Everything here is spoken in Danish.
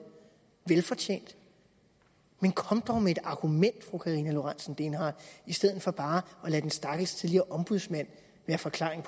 velfortjent kom dog med et argument fru karina lorentzen dehnhardt i stedet for bare at lade den stakkels tidligere ombudsmand være forklaring